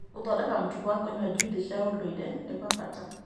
Gũthondeka mũtugo wa kũnyua juici cia ndũire nĩ gwa bata.